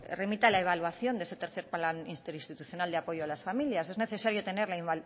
remita la evaluación de ese tercero plan interinstitucional de apoyo a las familias es necesario tener la